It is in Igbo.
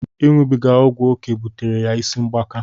Iṅụbiga ọgwụ oké butere ya ịsị mgbaka.